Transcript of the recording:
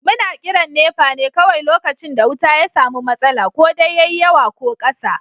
Muna kiran NEPA ne kawai lokacin da wuta ya samu matsala, ko dai yayi yawa ko ƙasa.